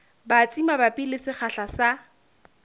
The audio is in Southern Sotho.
batsi mabapi le sekgahla sa